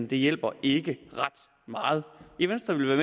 det hjælper ikke ret meget i venstre vil vi